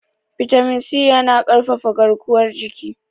bitamin C yana ƙarfafa garkuwar jiki